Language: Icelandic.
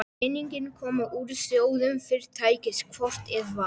Peningarnir komu úr sjóðum Fyrirtækisins hvort eð var.